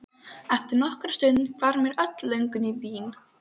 Eftir nokkra stund hvarf mér öll löngun í vín.